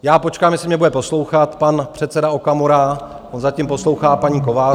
Já počkám, jestli mě bude poslouchat pan předseda Okamura, on zatím poslouchá paní Kovářovou.